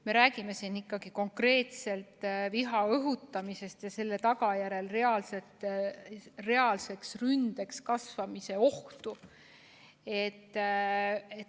Me räägime siin ikkagi konkreetselt viha õhutamisest ja selle reaalseks ründeks kasvamise ohust.